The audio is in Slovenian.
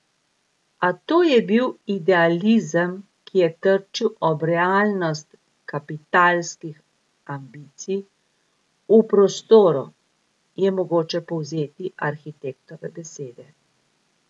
A to je bil idealizem, ki je trčil ob realnost kapitalskih ambicij v prostoru, je mogoče povzeti arhitektove besede.